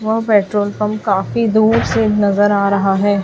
वह petrol pump काफी दूर से नजर आ रहा है।